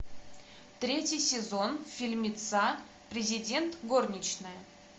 третий сезон фильмеца президент горничная